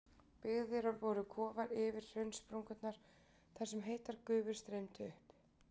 Byggðir voru kofar yfir hraunsprungurnar þar sem heitar gufur streymdu upp.